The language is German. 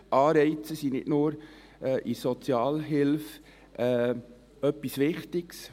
Die Anreize sind nicht nur in der Sozialhilfe etwas Wichtiges.